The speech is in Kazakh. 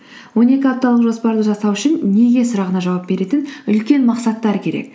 он екі апталық жоспарды жасау үшін неге сұрағына жауап беретін үлкен мақсаттар керек